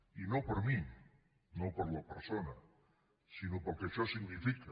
i no per mi no per la persona sinó pel que això significa